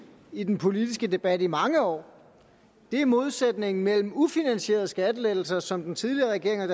i den politiske debat i mange år er modsætningen mellem ufinansierede skattelettelser som den tidligere regering og